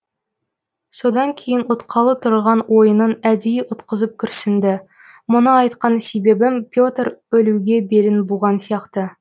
содан кейін ұтқалы тұрған ойынын әдейі ұтқызып күрсінді мұны айтқан себебім петр өлуге белін буған сияқты